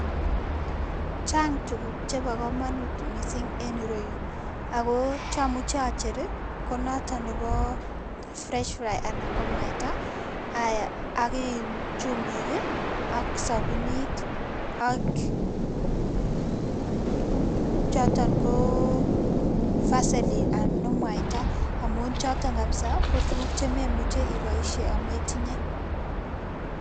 Chang' tuguk che bo komonut mising en iroyun ako chamu chacher ko notok nebo fresh-fri anan ko mwaita, ak chumbik, ak sabunit ,ak choton ko vaseline an oo mwaita ak chotok kapsaa ko tuguk che memuchen iboisie ametinye